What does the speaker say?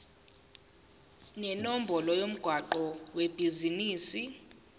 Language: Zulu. nenombolo yomgwaqo webhizinisi